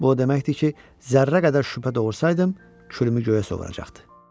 Bu o demək idi ki, zərrə qədər şübhə doğursaydım, külümü göyə sovuracaqdı.